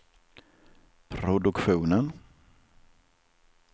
produktionen